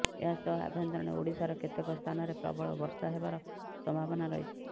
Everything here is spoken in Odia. ଏହା ସହ ଆଭ୍ୟନ୍ତରୀଣ ଓଡିଶାର କେତେକ ସ୍ଥାନରେ ପ୍ରବଳ ବର୍ଷା ହେବାର ସମ୍ଭାବନା ରହିଛି